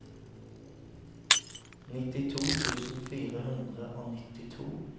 nittito tusen fire hundre og nittito